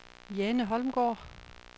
Jane Holmgaard